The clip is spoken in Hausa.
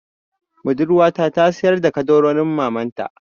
Budurwata ta sayar da ƙaddarorin mamanta.